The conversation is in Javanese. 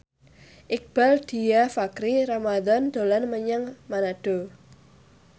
Iqbaal Dhiafakhri Ramadhan dolan menyang Manado